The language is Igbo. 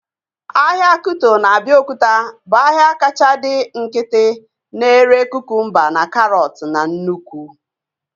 Ahịa Kuto na Abiokuta bụ ahịa kacha dị nkịtị na-ere kukumba na karọt na nnụkwụ